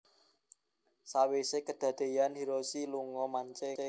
Sawise kedadeyan iku mobile iku mung dienggo Hiroshi lunga mancing